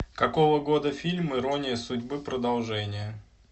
какого года фильм ирония судьбы продолжение